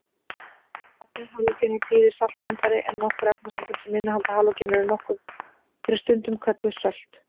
Nafnið halógenar þýðir saltmyndari en nokkur efnasambönd sem innihalda halógena eru stundum kölluð sölt.